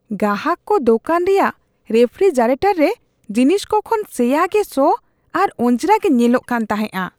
ᱜᱟᱦᱟᱠ ᱠᱚ ᱫᱚᱠᱟᱱ ᱨᱮᱭᱟᱜ ᱨᱮᱯᱷᱨᱤᱡᱟᱨᱮᱴᱚᱨ ᱨᱮ ᱡᱤᱱᱤᱥᱠᱚ ᱠᱚ ᱠᱷᱚᱱ ᱥᱮᱭᱟ ᱜᱮ ᱥᱚ ᱟᱨ ᱚᱡᱽᱨᱟ ᱜᱮ ᱧᱮᱞᱚᱜ ᱠᱟᱱ ᱛᱟᱦᱮᱸᱼᱟ ᱾